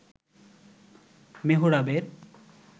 মেহরাবের